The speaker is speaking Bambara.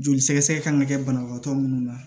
Joli sɛgɛsɛgɛ kan ka kɛ banabagatɔ minnu na